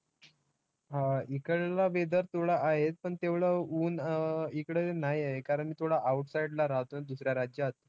हा, हिकडला weather थोडा आहेच पण तेवढं ऊन अं हिकडं नाही आहे कारण की थोडं outside ला राहतो दुसऱ्या राज्यात.